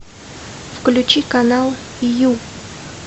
включи канал ю